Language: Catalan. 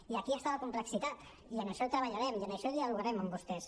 i aquí està la complexitat i en això treballarem i en això dialogarem amb vostès